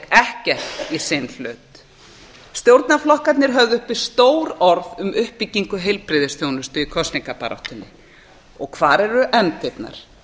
ekkert í sinn hlut stjórnarflokkarnir höfðu uppi stór orð um uppbyggingu heilbrigðisþjónustu í kosningabaráttunni og hvar eru efndirnar